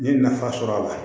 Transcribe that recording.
N ye nafa sɔrɔ a la